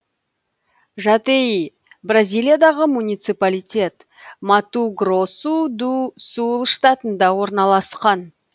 жатеи бразилиядағы муниципалитет мату гросу ду сул штатында орналасқан